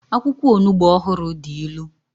akwukwo Onugbo ohuru di ilu